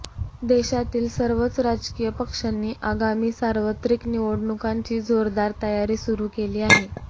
देशातील सर्वच राजकीय पक्षांनी आगामी सार्वत्रिक निवडणुकांची जोरदार तयारी सुरु केली आहे